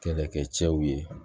Kɛlɛkɛcɛw ye